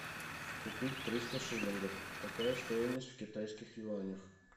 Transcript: купить триста шиллингов какая стоимость в китайских юанях